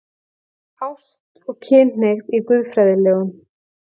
ÁST OG KYNHNEIGÐ Í GUÐFRÆÐILEGUM